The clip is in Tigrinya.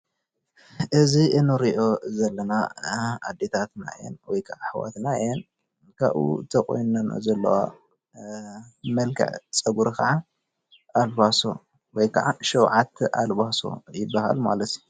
እዚ እንሪኦ ዘለና ኣዴታትና እየን። ወይ ክዓ ኣሕዋትና እየን። ካበኡ ተቆኒንኦ ዘለዋ መልክዕ ፀጉሪ ክዓ ኣልባሶ ወይ ክዓ ሸውዓተ ኣልባሶ ይብሃል ማለት እዩ::